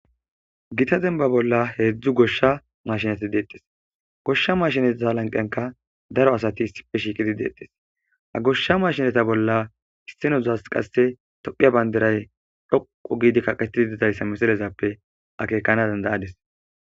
Githa dembbaa bolla heezzu goshsha maashineti deeththes; goshsha mashineta lanqqiyankka daro asati issippe shiiqidi deeththes; ha goshsha maashineta bolla isththii zona qasththee toophphiya banddiray dhuqqu giida kaqeththidi daysa mislezaysappe akeekana danddayaades.